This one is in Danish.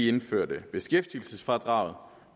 indførte beskæftigelsesfradraget